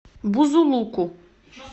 бузулуку